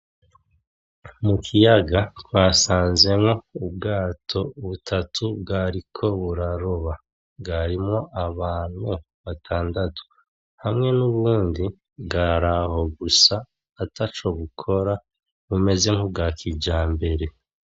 Mu kiyaga twasanzemwo ubwato butatu bwariko buraroba, bwarimwo abantu batandatu hamwe n'ubundi bwari aho gusa ataco bukora bumeze nk’ubwa kijambere.